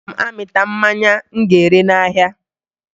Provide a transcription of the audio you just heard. Aga m amịta mmanya m ga-ere n'ahịa